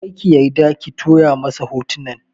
Kar ki yarda ki tura masa hotunan!